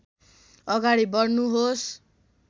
अगाडि बढ्नुहोस्